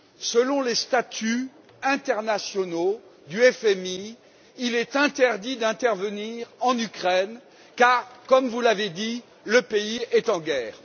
Selon les statuts internationaux du FMI, il est interdit d'intervenir en Ukraine car vous l'avez dit le pays est en guerre.